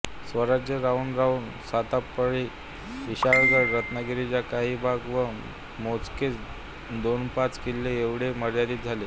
स्वराज्य राहून राहुन सातारापरळी विशाळगड रत्नागिरीचा काही भाग व मोजकेच दोन्पाच किल्ले ऐवढे मर्यादित झाले